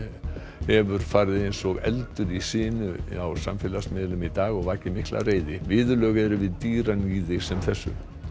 hefur farið eins og eldur um sinu á samfélagsmiðlum í dag og vakið mikla reiði viðurlög eru við dýraníði sem þessu